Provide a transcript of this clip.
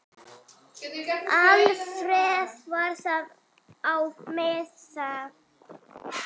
Alfreð var þar á meðal.